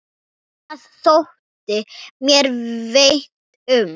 Það þótti mér vænt um